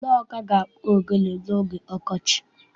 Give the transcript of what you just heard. Ndị Ọka ga-akpụ ogene n'oge ọkọchị.